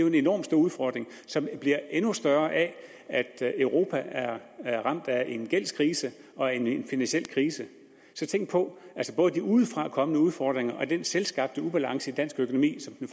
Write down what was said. en enormt stor udfordring som bliver endnu større af at europa er er ramt af en gældskrise og en finansiel krise så både de udefrakommende udfordringer og den selvskabte ubalance i dansk økonomi som den